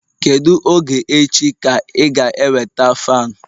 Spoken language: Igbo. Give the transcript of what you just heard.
Kedu oge echi ka ị ga-eweta fan